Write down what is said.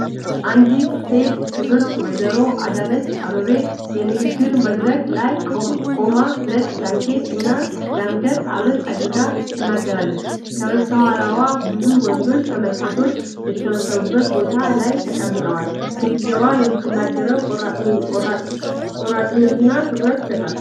አንዲት ሴት (ክብርት ወይዘሮ አዳነች አቤቤ) የንግግር መድረክ ላይ ቆማ ነጭ ጃኬት እና የአንገት ሐብል አድርጋ ትናገራለች። ከበስተኋላዋ ብዙ ወንዶች ተመልካቾች የተሰበሰቡበት ቦታ ላይ ተቀምጠዋል። ሴትየዋ የምትናገረው ቆራጥነትና ትኩረት ይሰጣል።